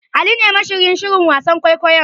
Ali ne mashiryin shirin wasan kwaikwayon.